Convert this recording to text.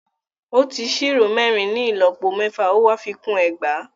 Ó ti ṣírò mẹ́rin ní ìlọ́po mẹ́fà, ó wá fi kún ẹgbàá.